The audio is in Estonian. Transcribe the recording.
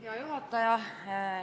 Hea juhataja!